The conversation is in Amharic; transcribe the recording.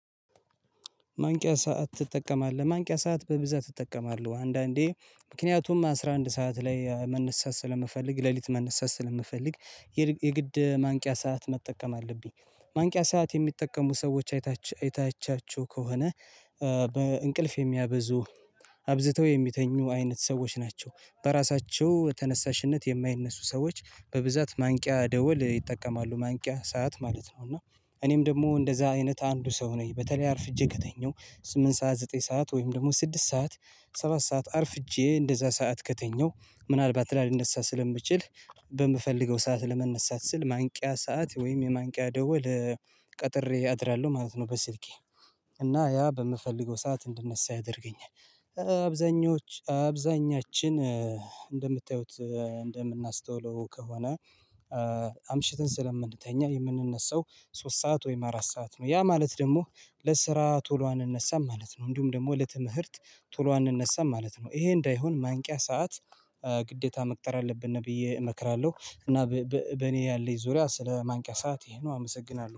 ማንቂያ ሰዓት ትጠቀማለህ? ማንቂያ ሰዓት በብዛት እጠቀማለሁ አንዳንዴ ምክንያቱም አስራ አንድ ሰዓት ላይ መነሳት ስለምፈልግ ሌሊት መነሳት ስለምፈልግ የግድ ማንቂያ ሰዓት መጠቀም አለብኝ። ማንቂያ ሰዓት የሚጠቀሙ ሰዎች አይታቻችሁ ከሆነ። በእንቅልፍ የሚያበዙ አብዝተው የሚተኙ አይነት ሰዎች ናቸው። በራሳቸው ተነሳሽነት የማይነሱ ሰዎች በብዛት ማንቂያ ደወል ይጠቀማሉ ማንቂያ ሰዓት ማለት ነው። እና እኔም ደግሞ እንደዛ አይነት አንዱ ሰው ነኝ። በተለይ አርፍጄ ከተኛው ስምንት ሰዓት ዘጠኝ ሰዓት ወይም ደግሞ ስድስት ሰዓት ሰባት ሰዓት አርፍጄ እንደዛ ሰዓት ከተኛው ምናልባት ላልነሳ ስለምችል በምፈልገው ሰዓት ለመነሳት ስል ማንቂያ ሰዓት ወይም የማንቂያ ደዉል ቀጥሬ አድራለሁ ማለት ነው። በስልኬ እና ያ በምፈልገው ሰዓት እንድነሳ ያደርገኛል። አብዛኞቹ አብዛኛችን እንደምታዩት እንደምናስተውለው ከሆነ። አምሽትን ስለምንተኛ የምንነሳው ሶስት ሰዓት ወይም አራት ሰዓት ነው ያ ማለት ደግሞ ለስራ ቶሎ አንነሳም ማለት ነው። እንዲሁም ደግሞ ለትምህርት ቶሎ አንነሳም ማለት ነው። ይሄ እንዳይሆን ማንቂያ ሰዓት ግዴታ መቅጠር አለብን ብዬ እመክራለሁ። እና በእኔ ያለኝ ዙሪያ ስለማንቂያ ሰዓት ይሄ ነው አመሰግናለሁ